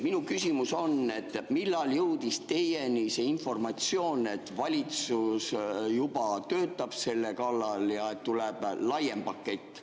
" Minu küsimus on: millal jõudis teieni see informatsioon, et valitsus juba töötab selle kallal ja tuleb laiem pakett?